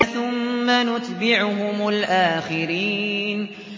ثُمَّ نُتْبِعُهُمُ الْآخِرِينَ